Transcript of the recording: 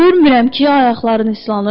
Görmürəm ki, ayaqların islanıb.